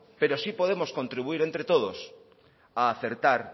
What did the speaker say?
pero sí podemos contribuir entre todos a acertar